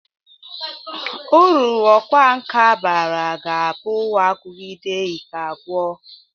Uru ọkwa nka bara ga-abụ agụgide ike agwọ.